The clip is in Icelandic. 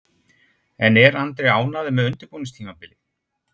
En er Andri ánægður með undirbúningstímabilið?